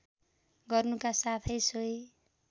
गर्नुका साथै सोही